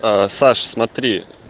аа саша смотри